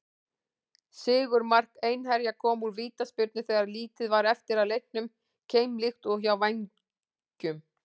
Sigurmark Einherja kom úr vítaspyrnu þegar lítið var eftir af leiknum, keimlíkt og hjá Vængjum.